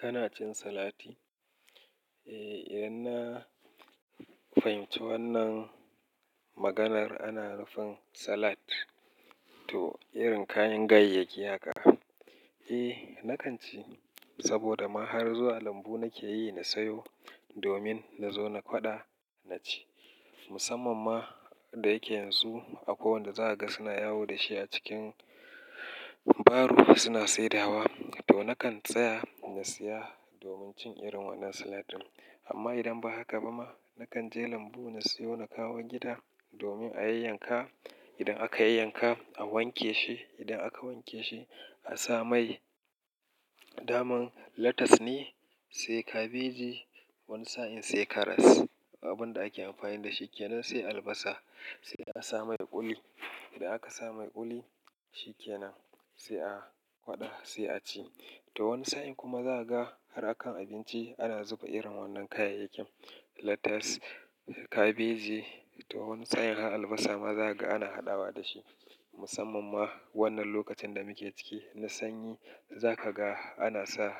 Kana cin salati? Eh, idan na fahimci wannan maganar ana nufin salad to irin kayan ganyayyaki haka. Eh, nakan ci saboda ma har zuwa lambu nake yi na sayo domin na zo na kwaɗa, na ci. Musamman ma da yake yanzu a kowanne za a ga suna yawo da shi a cikin baro suna saidawa to nakan tsaya na siya domin cin irin wannan salad ɗin. Amma idan ba haka ba ma, nakan je lambu na sayo na kawo gida domin a yayyanka. Idan aka yayyanka, a wanke shi. Idan aka wanke shi, a sa mai. Daman latas ne, sai kabeji, wani sa'in sai karas. Abin da ake amfani da shi kenan sai albasa, sai a sa mai ƙuli. Idan aka sa mai ƙuli shi kenan, sai a kwaɗa sai a ci. To wani sa'in kuma za ka ga har a kan abinci ana zuba irin wannan kayayyakin latas da kabeji. To wani sa'in har albasa ma za ka ga ana haɗawa da shi. Musamman ma wannan lokacin da muke ciki na sanyi za ka ga ana sa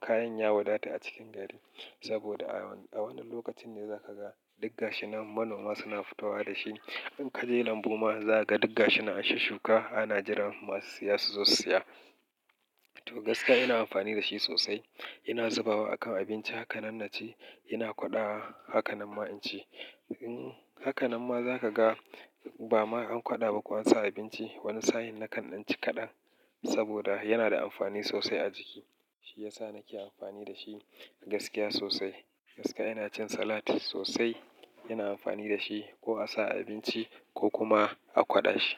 kayan ya wadata a cikin gari. Saboda a wannan lokacin ne za ka ga duk gashi nan manoma suna futowa da shi. In ka je lambu ma za ka ga duk ga shi nan an shusshuka ana jiran masu siya su zo siya. To gaskiya ina amfani da shi sosai. Ina zubawa a kan abinci haka nan na ci, ina kwaɗawa haka nan ma in ci. In haka nan ma za ka ga ba ma an kwaɗa ba ko an sa abinci wani sa'in nakan ɗan ci kaɗan saboda yana da amfani sosai a jiki. Shi ya sa nake amfani da shi gaskiya sosai. Gaskiya ina cin salad sosai, ina amfani da shi ko a sa abinci ko kuma a kwaɗa shi.